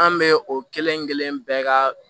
An bɛ o kelen-kelen bɛɛ ka